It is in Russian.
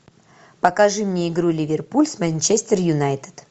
покажи мне игру ливерпуль с манчестер юнайтед